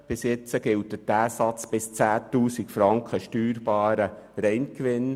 Bisher gilt dieser Satz bis 10 000 Franken steuerbarem Reingewinn.